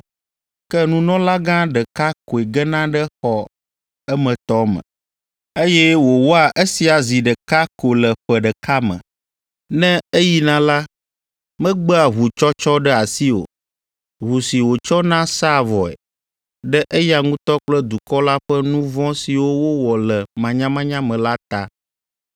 Ke nunɔlagã ɖeka koe gena ɖe xɔ emetɔ me, eye wòwɔa esia zi ɖeka ko le ƒe ɖeka me. Ne eyina la, megbea ʋutsɔtsɔ ɖe asi o, ʋu si wòtsɔna sãa vɔe, ɖe eya ŋutɔ kple dukɔ la ƒe nu vɔ̃ siwo wowɔ le manyamanya me la ta.